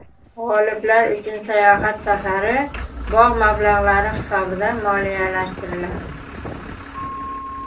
G‘oliblar uchun sayohat safari bog‘ mablag‘lari hisobidan moliyalashtiriladi.